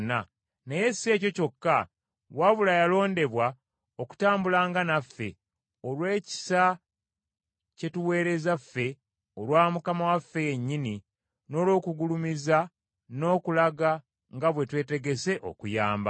naye si ekyo kyokka wabula yalondebwa okutambulanga naffe olw’ekisa kye tuweereza ffe olwa Mukama waffe yennyini n’olw’okugulumiza n’okulaga nga bwe twetegese okuyamba,